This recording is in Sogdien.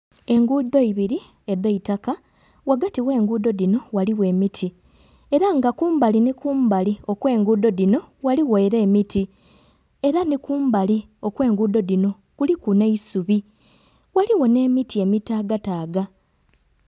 Enguudo ibiri edhaitaka ghagati ogh'enguudo dhino ghaligho emiti era nga kumbali ni kumbali okw'enguudo dhino ghaligho era emiti era ni kumbali okw'enguudo dhino kuliku n'eisubi ghaligho n'emiti emitagataga.